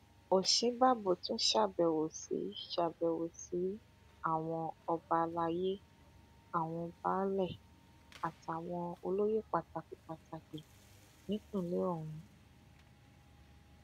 òsínbàbò tún ṣàbẹwò sí ṣàbẹwò sí àwọn ọba àlàyé àwọn baálé àtàwọn olóyè pàtàkì pàtàkì nípìnlẹ ọhún